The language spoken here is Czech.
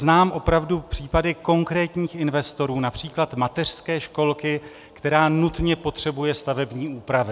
Znám opravdu případy konkrétních investorů, například mateřské školky, která nutně potřebuje stavební úpravy.